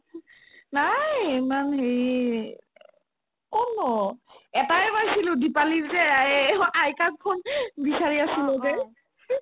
নাই ইমান হেৰি ক'তনো এটাই পাইছিলো দিপালীৰ যে আয়ে আইতাক ফোন বিচাৰি আছিলো যে